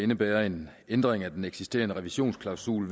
indebærer en ændring af den eksisterende revisionsklausul